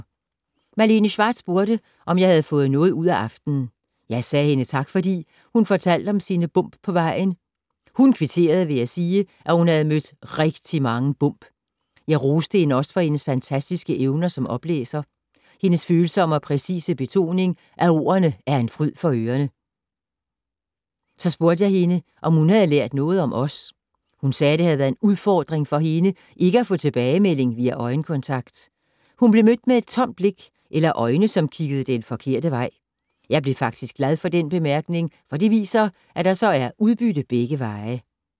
Malene Schwartz spurgte, om jeg havde fået noget ud af aftenen. Jeg sagde hende tak fordi, hun fortalte om sine bump på vejen. Hun kvitterede ved at sige, at hun havde mødt rigtig mange bump. Jeg roste hende også for hendes fantastiske evner som oplæser, hendes følsomme og præcise betoning af ordene er en fryd for ørene. Så spurgte jeg hende, om hun havde lært noget om os. Hun sagde, at det havde været en udfordring for hende ikke at få tilbagemelding via øjenkontakt. Hun blev mødt med et tomt blik, eller øjne som kiggede den forkerte vej. Jeg blev faktisk glad for den bemærkning, for det viser, at der så er udbytte begge veje.